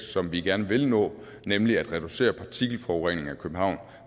som vi gerne vil nå nemlig at reducere partikelforureningen i københavn